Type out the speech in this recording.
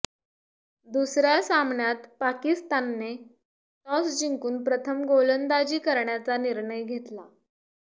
दुसऱ्या सामन्यात पाकिस्तानने टॉस जिंकून प्रथम गोलंदाजी करण्याचा निर्णय घेतला